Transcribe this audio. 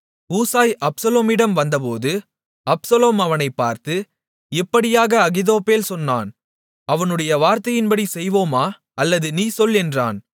Hushai அப்சலோமிடம் வந்தபோது Absalom அவனைப் பார்த்து இப்படியாக அகித்தோப்பேல் சொன்னான் அவனுடைய வார்த்தையின்படி செய்வோமா அல்லது நீ சொல் என்றான்